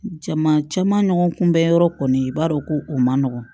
Jama caman nɔgɔn kunbɛn yɔrɔ kɔni i b'a dɔn ko o man nɔgɔn